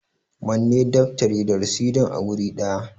Manne daftari da rasidin a guri ɗaya!